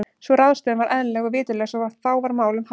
Sú ráðstöfun var eðlileg og viturleg svo sem þá var málum háttað.